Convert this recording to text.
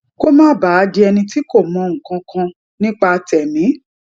kó má bàa di ẹni tí kò mọ nǹkan kan nípa tèmí